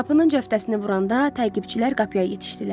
Qapının cəftəsini vuranda təqibçilər qapıya yetişdilər.